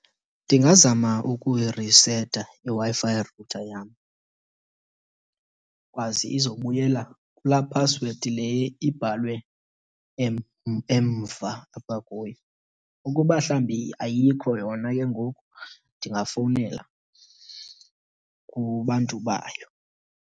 Ndingazama ukuyiriseta iWi-Fi router yam ikwazi izobuyela kulaa phasiwedi le ibhalwe emva apha kuyo. Ukuba mhlawumbi ayikho yona ke ngoku ndingafowunela kubantu bayo.